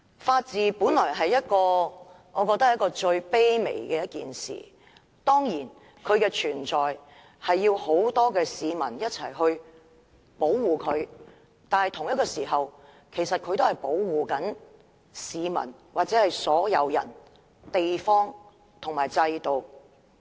法治本應是最卑微的一件事，當然法治需要很多市民一起保護才能存在，但同時，法治也在保護所有市民、地方和制度。